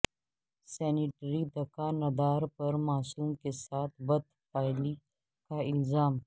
sanitary د کا ندار پر معصوم کے ساتھ بد فعلی کا الزام